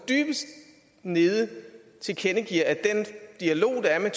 dybest nede tilkendegiver at den dialog der er med